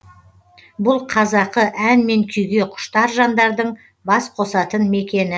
бұл қазақы ән мен күйге құштар жандардың бас қосатын мекені